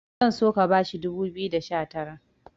zan so ka bashi dubu biyu da sha Tara